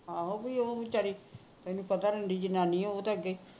ਆਹੋ ਬੀ ਉਹ ਉਹਨੂੰ ਵਿਚਾਰੀ ਤੈਨੂੰ ਪਤਾ ਉਹ ਰੰਡੀ ਜਨਾਣੀ ਹੈੈ ਓ ਤਾ ਅਗੇ